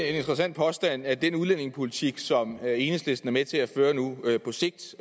interessant påstand at den udlændingepolitik som enhedslisten er med til at føre nu på sigt